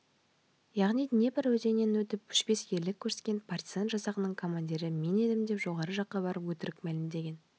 яғни днепр өзенінен өтіп өшпес ерлік көрсеткен партизан жасағының командирі мен едім деп жоғары жаққа барып өтірік мәлімдеген